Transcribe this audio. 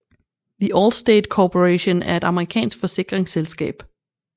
The Allstate Corporation er et amerikansk forsikringsselskab